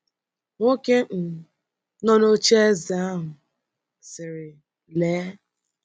Nwoke um nọ n’oche eze um ahụ sịrị: ‘ Lee! ’